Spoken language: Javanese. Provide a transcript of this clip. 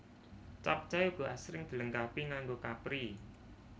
Capcay uga asring dilengkapi nganggo kapri